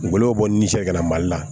Gɔbɔniw bɔ ni sɛ ka na mali la